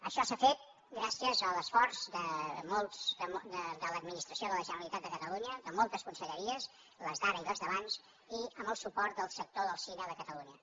això s’ha fet gràcies a l’esforç de l’administració de la generalitat de catalunya de moltes conselleries les d’ara i les d’abans i amb el suport del sector del cine de catalunya